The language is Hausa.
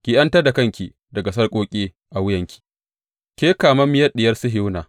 Ki ’yantar da kanki daga sarƙoƙi a wuyanki, Ke kamammiyar Diyar Sihiyona.